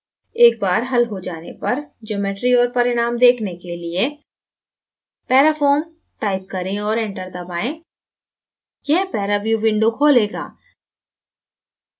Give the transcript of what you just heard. एक बार हल हो जाने पर geometry और परिणाम देखने के लिए parafoam type करें और enter दबाएँ यह paraview window खोलेगा